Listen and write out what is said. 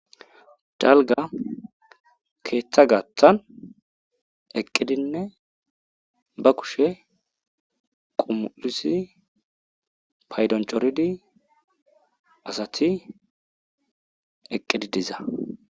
Dalga keeththa gaththan eqqidinne ba kushe qumulisi paydoncoridi asati eqqidi diza